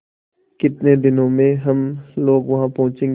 कितने दिनों में हम लोग वहाँ पहुँचेंगे